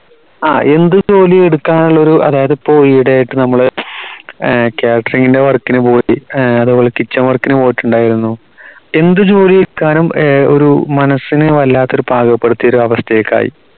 ആഹ് എന്ത് ജോലിയും എടുക്കാനുള്ള ഒരു അതായത് ഇപ്പോ ഈ ഇടിയായിട്ട് നമ്മള് catering ന്റെ work ന് പോയി അതുപോലെ kitchen work ന് പോയിട്ടുണ്ടായിരുന്നു എന്ത് ജോലിയെടുക്കാനും ഒരു മനസ്സിനെ വല്ലാത്തൊരു പാകപ്പെടുത്തിയ അവസ്ഥക്കായി